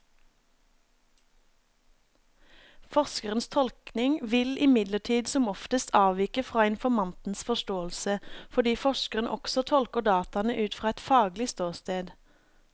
Forskerens tolkning vil imidlertid som oftest avvike fra informantens forståelse, fordi forskeren også tolker dataene ut fra et faglig ståsted.